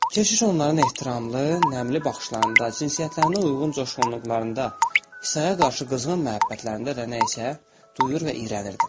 Keşiş onların ehtiramlı, nəmli baxışlarında, cinsiyyətlərinə uyğun coşqunluqlarında, İsaya qarşı qızğın məhəbbətlərində də nəsə duyur və iyrənirdi.